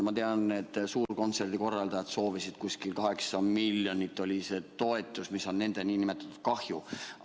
Ma tean, et suurkontserdi korraldajad soovisid saada umbes 8 miljonit eurot, see oli see toetus, mis nende kahju.